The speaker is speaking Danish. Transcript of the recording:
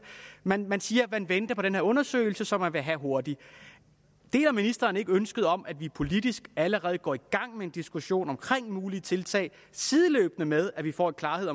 man man siger man venter på den her undersøgelse som man vil have hurtigt deler ministeren ikke ønsket om at vi politisk allerede nu går i gang med en diskussion omkring mulige tiltag sideløbende med at vi får en klarhed